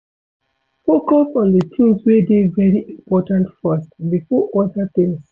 Focus on di things wey dey very important first before oda things